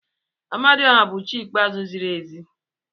Amadioha bụ chi ikpe ziri ezi.